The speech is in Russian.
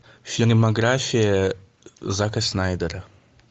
фильмография зака снайдера